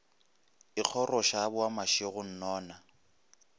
ikgoroša a boa mašego nnono